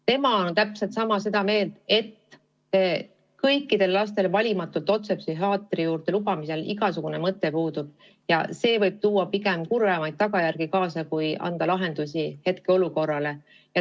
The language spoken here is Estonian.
Tema on täpselt sama meelt, et valimatult kõikide laste otse psühhiaatri juurde lubamisel puudub igasugune mõte ja see võib pigem kurvemaid tagajärgi kaasa tuua kui hetkeolukorda lahendada.